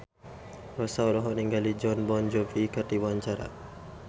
Rossa olohok ningali Jon Bon Jovi keur diwawancara